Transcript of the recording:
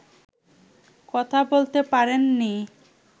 কথা বলতে পারেননি